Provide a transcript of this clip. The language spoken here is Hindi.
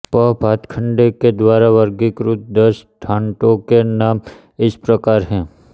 पं भातखंडे के द्वारा वर्गीकृत दस थाटों के नाम इस प्रकार हैं